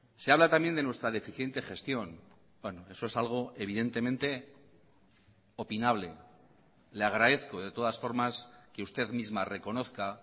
se habla también de nuestra deficiente gestión eso es algo evidentemente opinable le agradezco de todas formas que usted misma reconozca